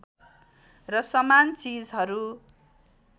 र समान चिजहरू